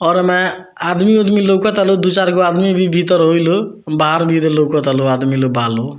घर में आदमी-उदमी लउकता लोग दु-चारगो आदमी भी भीतर होई लोग बाहर भी लउकता लोग आदमी लोग बा लोग।